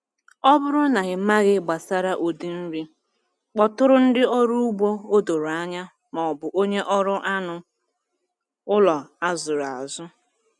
Ọ bụrụ na ịmaghị gbasara ụdị nri, kpọtụrụ ndị ọrụ ugbo o doro anya maọbụ onye ọrụ anụ ụlọ a zụrụ azụ.